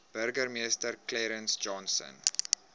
burgemeester clarence johnson